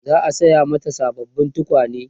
za'a saya mata sababbin tukwane